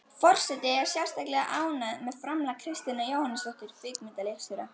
Forseti er sérstaklega ánægð með framlag Kristínar Jóhannesdóttur kvikmyndaleikstjóra.